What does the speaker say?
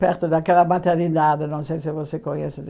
Perto daquela maternidade, não sei se você conhece.